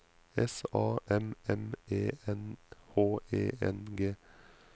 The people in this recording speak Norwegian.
S A M M E N H E N G